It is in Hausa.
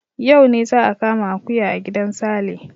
Yau ne za a kama akuya a gidan Sale.